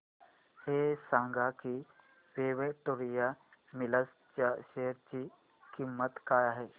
हे सांगा की विक्टोरिया मिल्स च्या शेअर ची किंमत काय आहे